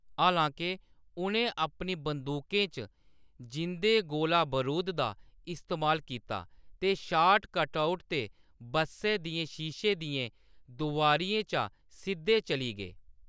हालां-के, उʼनें अपनी बंदूकें च जींदे गोला बरूद दा इस्तेमाल कीता ते शॉट कटआउट ते बस्सै दियें शीशे दियें दुआरियें चा सिद्धे चली गे।